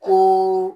O